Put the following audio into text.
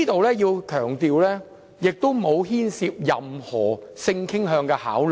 我要強調，當中並不牽涉任何性傾向的考慮。